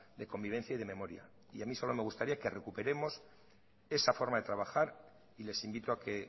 de convivencia y de memoria y a mí solo me gustaría que recuperemos esa forma de trabajar y les invito a que